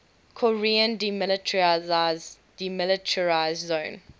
korean demilitarized zone